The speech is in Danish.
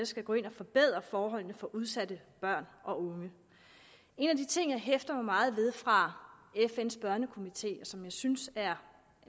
skal gå ind at forbedre forholdene for udsatte børn og unge en af de ting jeg hæfter mig meget ved fra fn’s børnekomité og som jeg synes er